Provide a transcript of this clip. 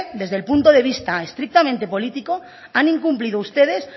desde el punto de vista estrictamente político han incumplido ustedes